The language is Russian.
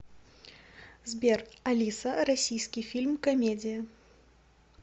сбер алиса российский фильм комедия